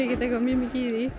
ekkert mjög mikið í